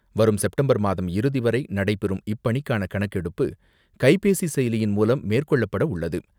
வரும் செப்டம்பர் மாதம் இறுதிவரை நடைபெறும் இப்பணிக்கான கணக்கெடுப்பு, கைபேசி செயலியின் மூலம் மேற்கொள்ளப்பட உள்ளது.